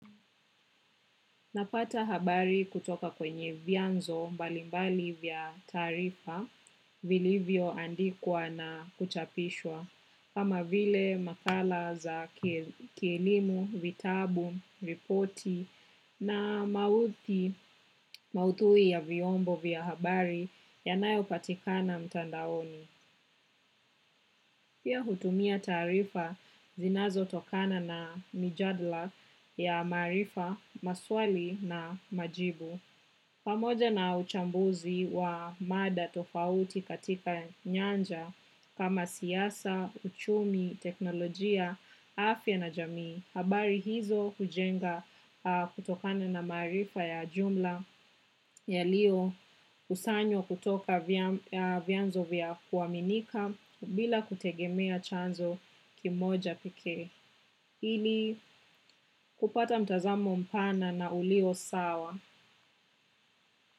Napata habari kutoka kwenye vyanzo mbalimbali vya taarifa vilivyoandikwa na kuchapishwa. Kama vile makala za kielimu, vitabu, ripoti na maudhui ya vyombo vya habari yanayopatikana mtandaoni. Pia hutumia taarifa zinazotokana na mijadala ya maarifa, maswali na majibu. Pamoja na uchambuzi wa mada tofauti katika nyanja kama siasa, uchumi, teknolojia, afya na jamii. Habari hizo hujenga kutokana na maarifa ya jumla yaliokusanywa kutoka vyanzo vya kuaminika bila kutegemea chanzo kimoja pekee. Ili kupata mtazamo mpana na ulio sawa.